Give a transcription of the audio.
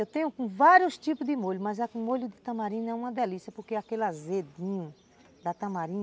Eu tenho com vários tipos de molho, mas é que o molho de tamarim não é uma delícia, porque aquele azedinho da tamarina,